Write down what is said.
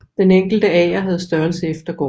Den enkelte ager havde størrelse efter gården